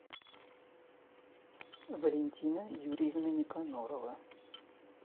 валентина юрьевна никонорова